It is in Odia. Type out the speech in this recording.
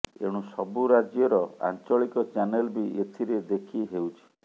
ଏଣୁ ସବୁ ରାଜ୍ୟର ଆଞ୍ଚଳିକ ଚାନେଲ ବି ଏଥିରେ ଦେଖି ହେଉଛି